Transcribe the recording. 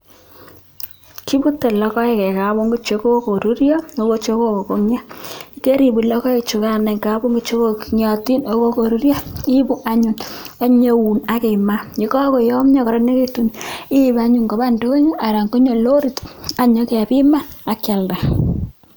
Kiputei logoek eng kapungui chekokoruryo ako chekokongio , ye karipuut logoechukan eng kapungui chekongiotin ako che kokoruuryo iipu anyun anyeun akimaa, ko kakoyomio kokararanekitun iip anyun koba indonyo anan konyo loriit anyekepiman akialda.